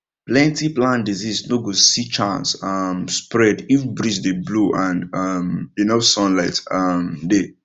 plenty plant disease no go see chance um spread if breeze dey blow and um enough sunlight um dey